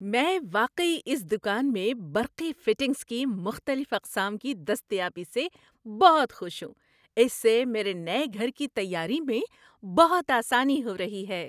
‏میں واقعی اس دکان میں برقی فٹنگز کی مختلف اقسام کی دستیابی سے بہت خوش ہوں۔ اس سے میرے نئے گھر کی تیاری میں بہت آسانی ہو رہی ہے‏۔